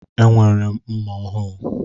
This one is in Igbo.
Enwere m mma ọhụụ.